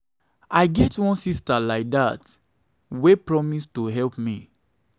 i get wan sister like dat wey promise to help me.